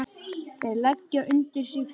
Þeir leggja undir sig löndin!